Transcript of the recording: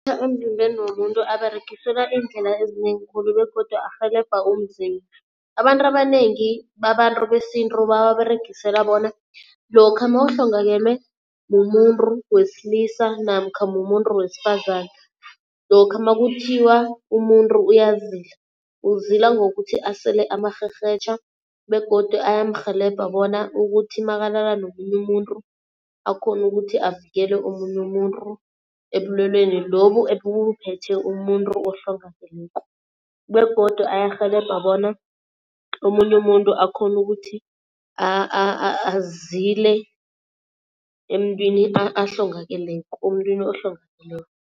Emzimbeni womuntu aberegiselwa iindlela ezinengi khulu begodu arhelebha umzimba. Abantu abanengi babantu besintu bawaberegisela bona lokha mawuhlongakelwe mumuntu wesilisa namkha mumuntu wesifazane, lokha makuthiwa umuntu uyazila uzila ngokuthi asele amarherhetjha begodu ayamrhelebha bona ukuthi makalala nomunye umuntu akhone ukuthi avikele omunye umuntu ebulwelweni lobu ebuphethe umuntu ohlongakeleko. Begodu ayarhelebha bona omunye umuntu akhone ukuthi azile emntwini ahlongakeleko, omntwini ohlongakeleko.